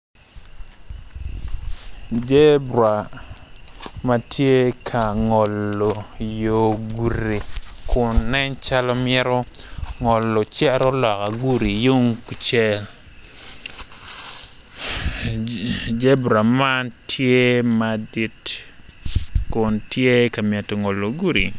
Zebra ma tye ka ngolo yo gudi kun nen calo mito ngolo cito loka gudi tung kucel zebra man tye madit kun tye ka mito ngolo gudi.